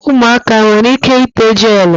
Umuaka enwere ike ite gelu?